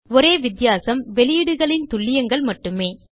ஒரே வித்தியாசம் வெளியீடுகளின் துல்லியங்கள் மட்டுமே